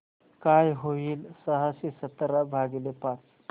काय होईल सहाशे सतरा भागीले पाच